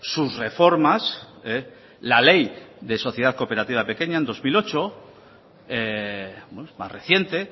sus reformas la ley de sociedad cooperativa pequeña en dos mil ocho más reciente